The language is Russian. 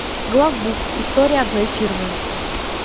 главбух история одной фирмы